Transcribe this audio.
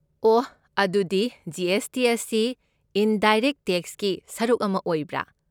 ꯑꯣ, ꯑꯗꯨꯗꯤ G. S. T. ꯑꯁꯤ ꯏꯟꯗꯥꯏꯔꯦꯏꯛꯠ ꯇꯦꯛꯁꯀꯤ ꯁꯔꯨꯛ ꯑꯃ ꯑꯣꯏꯕ꯭ꯔꯥ?